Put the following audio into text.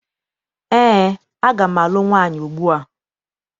Eé, aga m alụ nwaanyị ugbua.